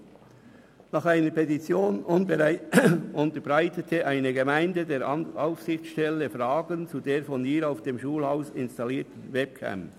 Videoüberwachung: Nach einer Petition unterbreitete eine Gemeinde der Aufsichtsstelle Fragen zu der von ihr auf dem Schulhaus installierten Webcam.